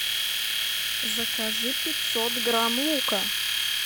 закажи пятьсот грамм лука